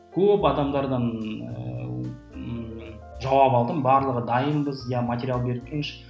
көп адамдардан ыыы жауап алдым барлығы дайынбыз иә материал беріп тұрыңызшы